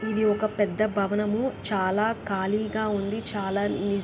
ఇది ఒక పెద్ద భవనము.చాలా ఖాళీగా ఉంది.చాలా ని--